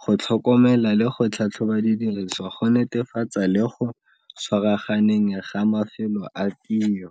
go tlhokomela le go tlhatlhoba didiriswa go netefatsa le go tshwaraganeng ga mafelo a tiro.